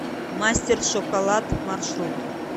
мастер шоколад маршрут